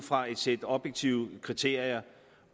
fra et sæt objektive kriterier